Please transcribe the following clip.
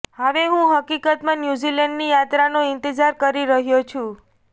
હવે હું હકીકતમાં ન્યૂઝીલેન્ડની યાત્રાનો ઈંતેજાર કરી રહ્યો છું